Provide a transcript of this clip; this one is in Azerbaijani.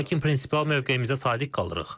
Lakin prinsipial mövqeyimizə sadiq qalırıq.